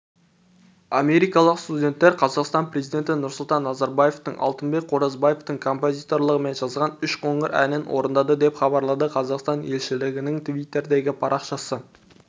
америкалық студенттер қазақстан президенті нұрсұлтан назарбаевтыңалтынбек қоразбаевтың композиторлығымен жазған үш қоңыр әнін орындады деп хабарлады қазақстан елшілігінің твиттердегі парақшасы